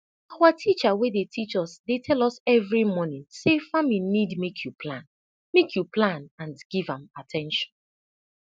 awa teacher wey dey teach us dey tell us every morning say farming need make you plan make you plan and give am at ten tion